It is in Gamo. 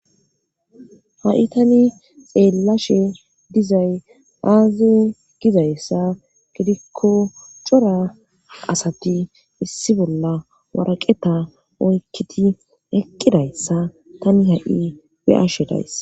ha7i tani xeellashe dizay aaze gidayssa gidikko cora asati issi bolla waraqeta oykkiti eqqidayssa tani ha7i beyashe dayss